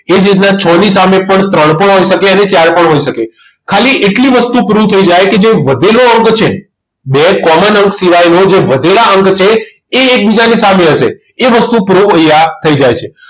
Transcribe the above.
એ જ રીતના છ ની સામે પણ ત્રણ પણ હોઈ શકે અને ચાર પણ હોઈ શકે ખાલી એટલી વસ્તુ proof થઈ જાય કે જે વધેલો અંક છે બે common અંક સિવાયનો જે વધેલા અંક છે એ એકબીજાની સામે હશે એ વસ્તુ અહીંયા proof થઈ જાય છે